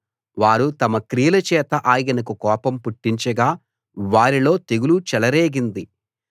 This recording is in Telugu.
వారు తమ క్రియలచేత ఆయనకు కోపం పుట్టించగా వారిలో తెగులు చెలరేగింది